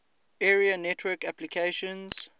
area network applications